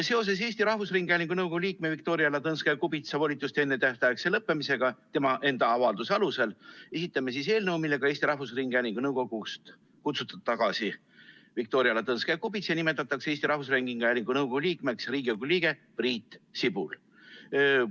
Seoses Eesti Rahvusringhäälingu nõukogu liikme Viktoria Ladõnskaja-Kubitsa volituste ennetähtaegse lõppemisega tema enda avalduse alusel esitame eelnõu, millega Eesti Rahvusringhäälingu nõukogust tagasi kutsutud Viktoria Ladõnskaja-Kubitsa asemel nimetatakse Eesti Rahvusringhäälingu nõukogu liikmeks Riigikogu liige Priit Sibul.